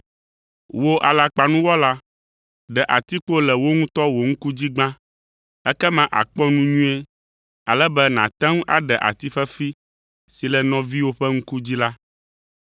Wò, alakpanuwɔla, ɖe atikpo le wò ŋutɔ wò ŋku dzi gbã, ekema àkpɔ nu nyuie ale be nàte ŋu aɖe ati fefi si le nɔviwò ƒe ŋku dzi la.